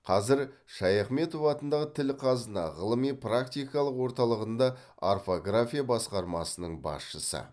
қазір шаяхметов атындағы тіл қазына ғылыми практикалық орталығында орфография басқармасының басшысы